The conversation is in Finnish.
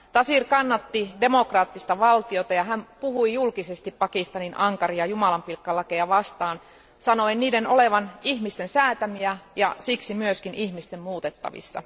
Taseer kannatti demokraattista valtiota ja hän puhui julkisesti Pakistanin ankaria jumalanpilkkalakeja vastaan sanoen niiden olevan ihmisten säätämiä ja siksi myös ihmisten muutettavissa.